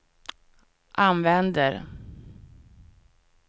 använder